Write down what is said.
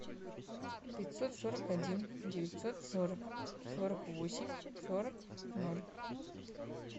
пятьсот сорок один девятьсот сорок сорок восемь сорок ноль